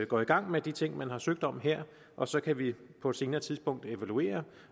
går i gang med de ting man har søgt om her og så kan vi på et senere tidspunkt evaluere